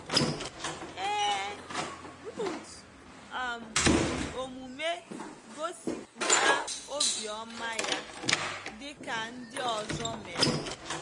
Ee, Ruth um ji omume gosipụta obiọma ya, dị ka ndị ọzọ mere.